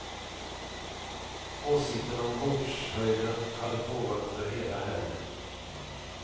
Åsikterna om bordshöjden hade pågått under hela helgen.